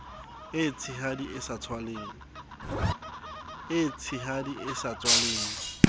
e tshehadi e sa tswaleng